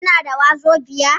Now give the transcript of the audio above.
Kina da wazobiya?